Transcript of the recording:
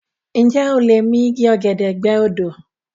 Ǹjẹ́ o lè mi igi ọ̀gẹ̀dẹ̀ gbẹ́ odó?